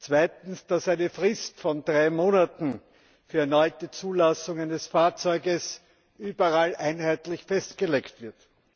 Zweitens, dass eine Frist von drei Monaten für die erneute Zulassung eines Fahrzeuges überall einheitlich festgelegt wird.